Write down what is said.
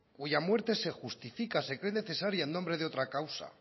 cuya muerte se justifica se cree necesaria en nombre de otra causa